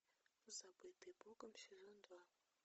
забытые богом сезон два